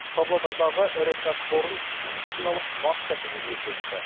павлодардағы ірі кәсіпорын медициналық маска тігуге көшті